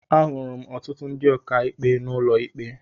Ahụrụ m ọtụtụ ndị ọkàikpe n'ụlọ ikpe.